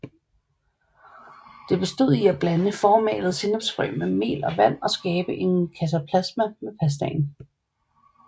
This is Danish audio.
Det bestod i at blande formalede sennepsfrø med mel og vand og skabe en kataplasma med pastaen